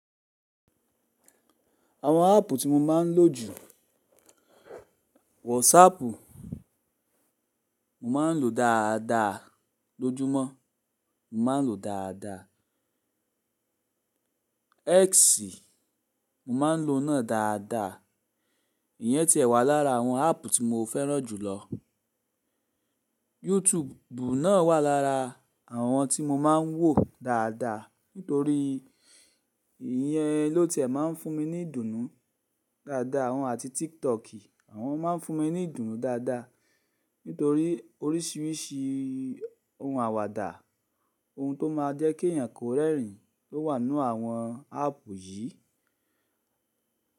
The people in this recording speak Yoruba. Àwọn áàpù tí mo máa ń lò jù. WhatsApp, mo máa ń lò dáadáa lójúmọ́, mo máa ń lò dáadáa. X, mo máa ń lò náà dáadáa. Iyẹn ti ẹ̀ wà lára àwọn áàpù tí mo fẹ́ràn jù lọ. YouTube náà wà lára àwọn tí mo máa ń wò dáadáa nítorí ìyẹn ló ti máa ń fún mi ní ìdùnnú dáadáa. Òun àti TikTok, àwọn máa ń fún mi ní ìdùnnú dáadáa nítorí oríṣìíríṣìí oun àwàdà, oun tó máa jẹ́ kí èyàn kó rẹ́rìn lo wà n nú àwọn áàpù yìí.